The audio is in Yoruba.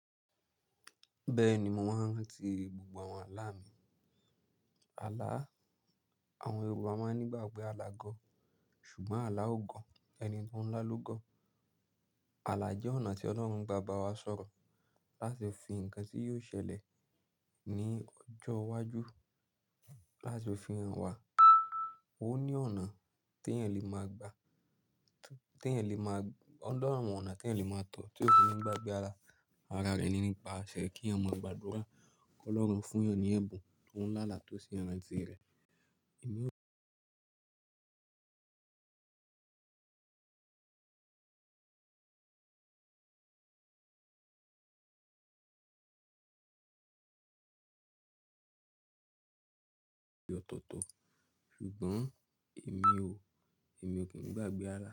Bẹ́ẹ̀ni, mo máa ń rántí gbogbo àwọn àlá mi. Àlá, àwọn Yorùbá máa ń ní ìgbàgbọ́ pé àlá gọ̀, ṣùgbọ́n àlá ò gọ̀, ẹni tó ń lá ló gọ̀. Àlá jẹ́ ọ̀nà tí Ọlọ́run gba bàbá wa sọ̀rọ̀ láti fi nǹkan tí yóò ṣẹlẹ̀ ní ọjọ́ iwájú láti fi hàn wá. Ó ní ọ̀nà tí èèyàn lè máa gbà, tí èèyàn lè máa, òní àwọn ọ̀nà tí èèyàn lè máa tọ̀ tí ó kò ní gbàgbé alà. Ara rẹ̀ ni nípa ṣẹ́ kí ọmọ ìgbàdúrà kọ́ lọ́run fún èèyàn ní ẹ̀bùn tó ń lá àlà tó sí ara tirẹ̀. Ìmú- Ọ̀tọ̀ọ̀tọ̀. Ṣùgbọ́n èmi ò, èmi ò kín gbàgbé alà.